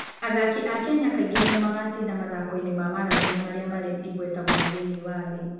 Athaki a Kenya kaingĩ nĩo magacinda mathaako-inĩ ma marathoni marĩa marĩ igweta mũno thĩinĩ wa thĩ.